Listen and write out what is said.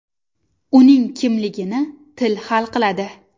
Uning kimligini til hal qiladi.